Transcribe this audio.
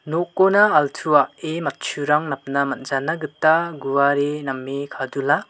nokona altuae matchurang napna manjanagita guare name kadula.